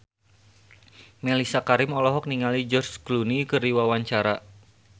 Mellisa Karim olohok ningali George Clooney keur diwawancara